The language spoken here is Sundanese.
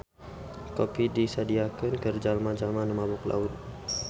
Kopi disadiakeun keur jalma-jalma nu mabok laut.